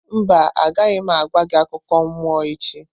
Mba, agaghị m agwa gị akụkọ mmụọ echi.